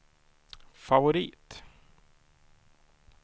favorit